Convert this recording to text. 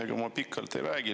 Ega ma pikalt ei räägi.